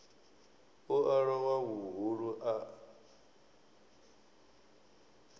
u a lowa vhuhulu a